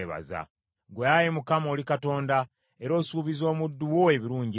Ggwe Ayi Mukama oli Katonda, era osuubizza omuddu wo ebirungi ebyo.